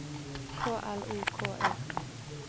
K L O K E